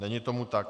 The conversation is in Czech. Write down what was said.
Není tomu tak.